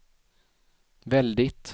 väldigt